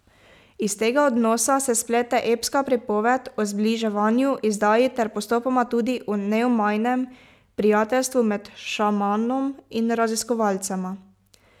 Iz tega odnosa se splete epska pripoved o zbliževanju, izdaji ter postopoma tudi o neomajnem prijateljstvu med šamanom in raziskovalcema.